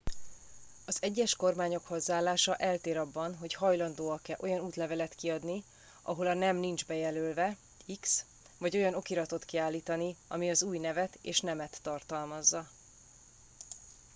az egyes kormányok hozzáállása eltér abban hogy hajlandóak-e olyan útlevelet kiadni ahol a nem nincs bejelölve x vagy olyan okiratot kiállítani ami az új nevet és nemet tartalmazza